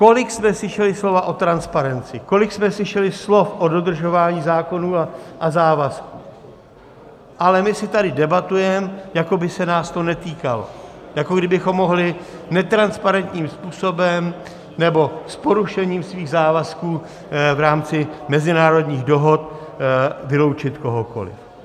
Kolik jsme slyšeli slov o transparenci, kolik jsme slyšeli slov o dodržování zákonů a závazků, ale my si tady debatujeme, jako by se nás to netýkalo, jako kdybychom mohli netransparentním způsobem nebo s porušením svých závazků v rámci mezinárodních dohod vyloučit kohokoliv.